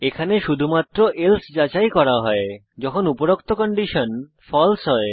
এখানে শুধুমাত্র এলসে যাচাই করা হয় যখন উপরোক্ত কন্ডিশন ফালসে হয়